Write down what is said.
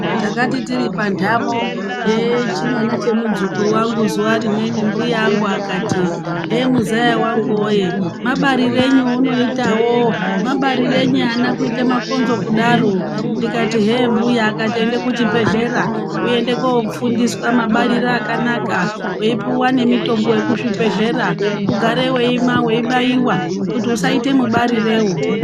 Takati tiri panhtamo yechimwana chemudzukuru wangu zuwa rimweni mbuya angu akati hee muzaya wangu woye mabarirenyi eunoitawo, mabarirenyi ana kuite makonzo kudaro ndikati hee mbuya akati enda kuchibhedhlera uende koofundiswa mabarire akanaka weipuwa nemitombo yekuzvibhedhlera ugare weimwa weibaiwa kuti usaite mubarirewo.